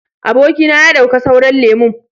Aboki na ya dauka sauran lemun.